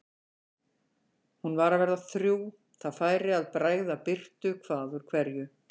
Hún var að verða þrjú, það færi að bregða birtu hvað úr hverju.